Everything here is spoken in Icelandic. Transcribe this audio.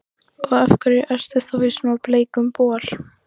Og af hverju ertu þá í svona bleikum bol?